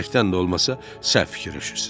Bilərəkdən də olmasa, səhv fikirləşirsiz.